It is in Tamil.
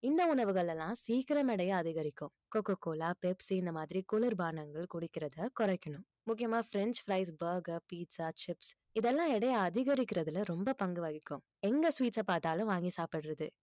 இந்த உணவுகள் எல்லாம் சீக்கிரம் எடைய அதிகரிக்கும் coca-cola Pepsi இந்த மாதிரி குளிர்பானங்கள் குடிக்கிறதை குறைக்கணும் முக்கியமா french fries burger pizza chips இதெல்லாம் எடையை அதிகரிக்கிறதுல ரொம்ப பங்கு வகிக்கும் எங்க sweet அ பார்த்தாலும் வாங்கி சாப்பிடுறது